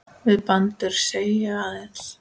Við bændur segi ég aðeins.